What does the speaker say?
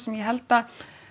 ég held að